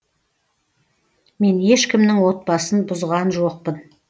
мен ешкімнің отбасын бұзған жоқпын